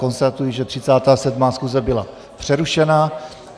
Konstatuji, že 37. schůze byla přerušena.